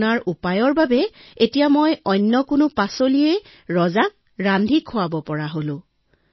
আপোনাৰ পৰামৰ্শৰ ফলতেই এতিয়া মই যিকোনো পাচলি ৰজাক ৰান্ধি খুৱাব পাৰো